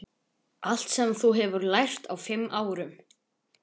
Allt sem þú hefur lært á fimm árum.